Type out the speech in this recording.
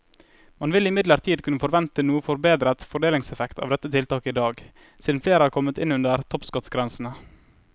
Man vil imidlertid kunne forvente noe forbedret fordelingseffekt av dette tiltaket i dag, siden flere er kommet inn under toppskattgrensene.